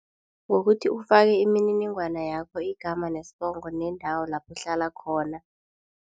Ngokuthi ufake imininingwana yakho igama nesibongo neendawo lapho uhlala khona.